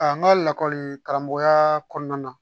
A n ka lakɔli karamɔgɔya kɔnɔna na